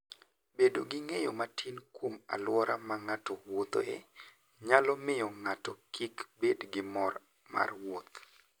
Bedo gi ng'eyo matin kuom alwora ma ng'ato wuothoe, nyalo miyo ng'ato kik bed gi mor mar wuoth.